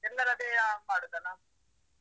ಎಲ್ಲರದ್ದೇ ಮಾಡುದಲ್ಲ?